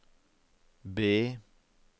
B